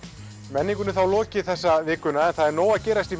menningunni er þá lokið þessa vikuna en það er nóg að gerast